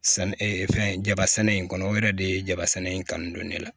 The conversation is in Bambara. San fɛn jabɛ sɛnɛ in kɔnɔ o yɛrɛ de ye jaba sɛnɛ in kanu don ne la